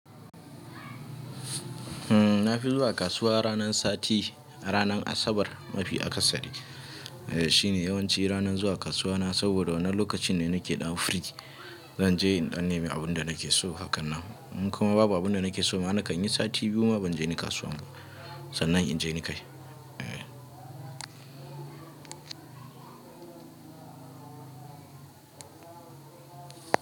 Hmm, na fi zuwa kasuwa ranar sati, ranar Asabar mafi akasari. E, shine yawanci ranar zuwa kasuwa na saboda wannan lokacin ne na ke dan free. Zan je in danneme abin da na ke so, hakan nan. In kuma babu abin da na ke so, ma nakan yi sati biyu ma ban je ni kasuwa ba. Sannan in je ni kai. E.